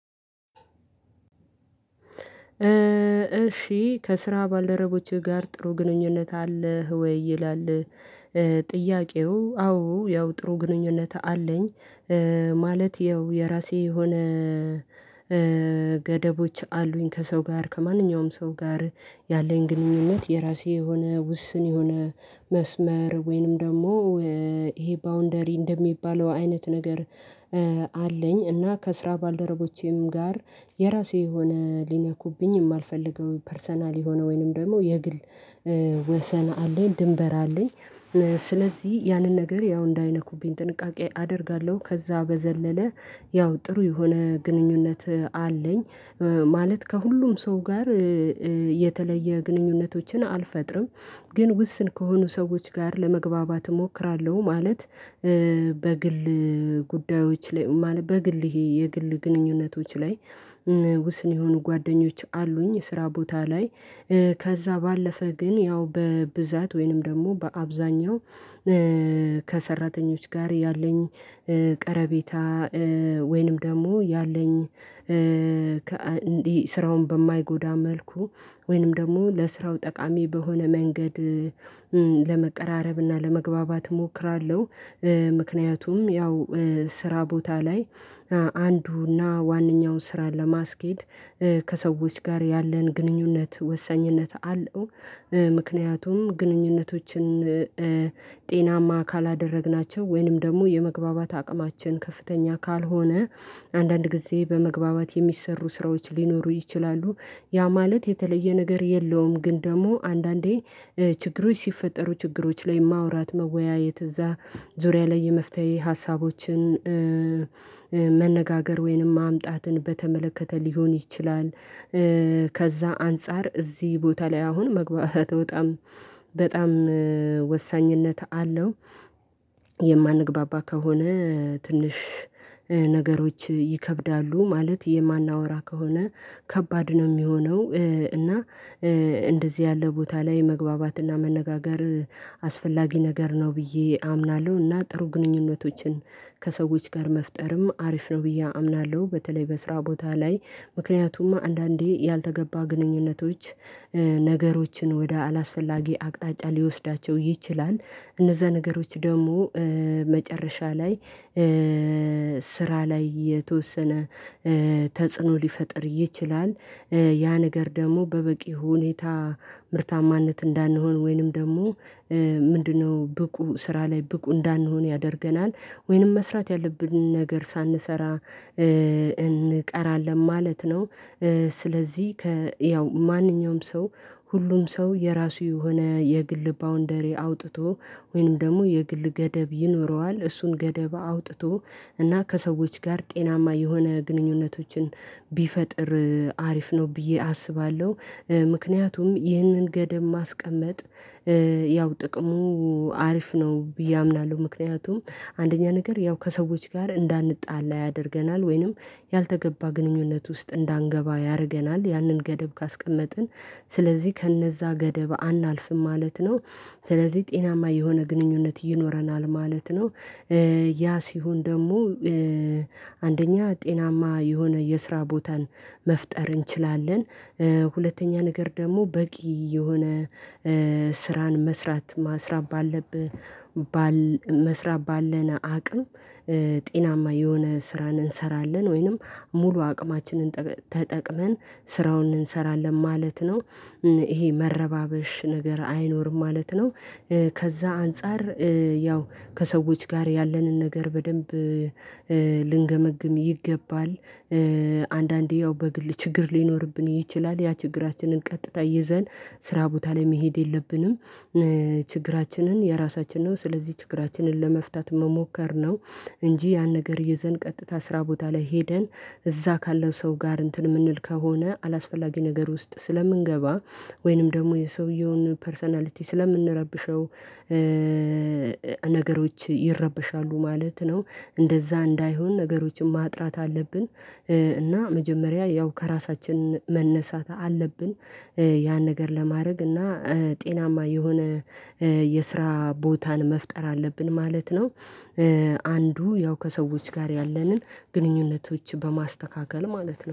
እሺ ከስራ ባልደረቦችህ ጋር ጥሩ ግንኙነት አለህ ወይ ይላል? ጥያቄው አዎ ያው ጥሩ ግንኙነት አለኝ። ማለት ያው የራሴ የሆነ ገደቦች አሉኝ ከሰው ጋር ከማንኛውም ሰው ጋር ያለኝ ግንኙነት የራሴ የሆነ ውስን የሆነ መስመር ወይንም ደግሞ ይሄ ባውንደሪ እንደሚባለው አይነት ነገር አለኝ። እና ከስራ ባልደረቦቼም ጋር የራሴ የሆነ ሊነኩብኝ የማልፈልገው ፐርሰናል የሆነ ወይንም ደግሞ የግል ወሰን አለኝ ድንበር አለኝ። ስለዚህ ያንን ነገር ያው እንዳይነኩብኝ ጥንቃቄ አደርጋለሁ ከዛ በዘለለ ያው ጥሩ የሆነ ግንኙነት አለኝ። ማለት ከሁሉም ሰው ጋር የተለየ ግንኙነቶችን አልፈጥርም ግን ውስን ከሆኑ ሰዎች ጋር ለመግባባት እሞክራለሁ ማለት። በግል ጉዳዮች ላይ ማለት በግል ይሄ የግል ግንኙነቶች ላይ ውስን የሆኑ ጓደኞች አሉኝ ስራ ቦታ ላይ ከዛ ባለፈ ግን ያው በብዛት ወይንም ደግሞ በአብዛኛው ከሰራተኞች ጋር ያለኝ ቀረቤታ። ወይንም ደግሞ ያለኝ ስራውን በማይጎዳ መልኩ ወይንም ደግሞ ለስራው ጠቃሚ በሆነ መንገድ ለመቀራረብና ለመግባባት እሞክራለሁ። ምክንያቱም ያው ስራ ቦታ ላይ አንዱና ዋነኛውን ስራ ለማስኬድ ከሰዎች ጋር ያለን ግንኙነት ወሳኝነት አለው። ምክንያቱም ግንኙነቶችን ጤናማ ካላደረግናቸው ወይንም ደግሞ የመግባባት አቅማችን ከፍተኛ ካልሆነ አንዳንድ ጊዜ በመግባባት የሚሰሩ ስራዎች ሊኖሩ ይችላሉ። ያ ማለት የተለየ ነገር የለውም ግን ደግሞ አንዳንዴ ችግሮች ሲፈጠሩ ችግሮች ላይ ማውራት መወያየት እዛ ዙሪያ ላይ የመፍታይ ሀሳቦችን መነጋገር ወይንም ማምጣትን በተመለከተ ሊሆን ይችላል። ከዛ አንፃር እዚህ ቦታ ላይ አሁን መግባት በጣም በጣም ወሳኝነት አለው። የማንግባባ ከሆነ ትንሽ ነገሮች ይከብዳሉ ማለት የማናወራ ከሆነ ከባድ ነው የሚሆነው እና። እንደዚህ ያለ ቦታ ላይ መግባባትና መነጋገር አስፈላጊ ነገር ነው ብዬ አምናለሁ እና ጥሩ ግንኙነቶችን ከሰዎች ጋር መፍጠርም አሪፍ ነው ብዬ አምናለሁ። በተለይ በስራ ቦታ ላይ ምክንያቱም አንዳንዴ ያልተገባ ግንኙነቶች ነገሮችን ወደ አላስፈላጊ አቅጣጫ ሊወስዳቸው ይችላል እነዛ ነገሮች ደግሞ መጨረሻ ላይ ስራ ላይ የተወሰነ ተጽዕኖ ሊፈጥር ይችላል። ያ ነገር ደግሞ በበቂ ሁኔታ ምርታማነት እንዳንሆን ወይንም ደግሞ ምንድነው ብቁ ስራ ላይ ብቁ እንዳንሆን ያደርገናል ወይንም መስራት ያለብንን ነገር ሳንሰራ እንቀራለን ማለት ነው። ስለዚህ ያው ማንኛውም ሰው ሁሉም ሰው የራሱ የሆነ የግል ባውንደሪ አውጥቶ ወይንም ደግሞ የግል ገደብ ይኖረዋል እሱን ገደብ አውጥቶ እና ከሰዎች ጋር ጤናማ የሆነ ግንኙነቶችን ቢፈጥር አሪፍ ነው ብዬ አስባለሁ። ምክንያቱም ይህንን ገደብ ማስቀመጥ ያው ጥቅሙ አሪፍ ነው ብዬ አምናለሁ። ምክንያቱም አንደኛ ነገር ያው ከሰዎች ጋር እንዳንጣላ ያደርገናል ወይንም ያልተገባ ግንኙነት ውስጥ እንዳንገባ ያደርገናል ያንን ገደብ ካስቀመጥን ስለዚህ ከነዛ ገደብ አናልፍም ማለት ነው ስለዚህ ጤናማ የሆነ ግንኙነት ይኖረናል ማለት ነው። ያ ሲሆን ደግሞ አንደኛ ጤናማ የሆነ የስራ ቦታን መፍጠር እንችላለን። ሁለተኛ ነገር ደግሞ በቂ የሆነ ስራን መስራት ማስራብ ባለብህ መስራብ ባለን አቅም ጤናማ የሆነ ስራን እንሰራለን ወይንም ሙሉ አቅማችንን ተጠቅመን ስራውን እንሰራለን ማለት ነው። ይሄ መረባበሽ ነገር አይኖርም ማለት ነው። ከዛ አንፃር ያው ከሰዎች ጋር ያለንን ነገር በደንብ ልንገመግም ይገባል። አንዳንዴ ያው በግል ችግር ሊኖርብን ይችላል ያ ችግራችንን ቀጥታ ይዘን ስራ ቦታ ላይ መሄድ የለብንም። ችግራችንን የራሳችን ነው ስለዚህ ችግራችንን ለመፍታት መሞከር ነው። እንጂ ያን ነገር ይዘን ቀጥታ ስራ ቦታ ላይ ሄደን እዛ ካለው ሰው ጋር እንትን የምንል ከሆነ አላስፈላጊ ነገር ውስጥ ስለምንገባ ወይንም ደግሞ የሰውየውን ፐርሰናሊቲ ስለምንረብሸው ነገሮች ይረበሻሉ ማለት ነው። እንደዛ እንዳይሆን ነገሮችን ማጥራት አለብን። እና መጀመሪያ ያው ከራሳችን መነሳት አለብን። ያን ነገር ለማድረግ እና ጤናማ የሆነ የስራ ቦታን መፍጠር አለብን ማለት ነው። አንዱ ያው ከሰዎች ጋር ያለንን ግንኙነቶች በማስተካከል ማለት ነው